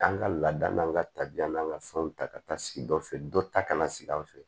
An ka laada n'an ka tabiya n'an ka fɛnw ta ka taa sigi dɔ fɛ dɔ ta ka sigi an fɛ